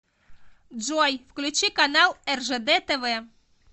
джой включи канал ржд тв